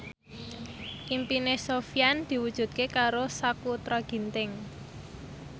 impine Sofyan diwujudke karo Sakutra Ginting